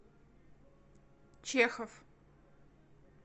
чехов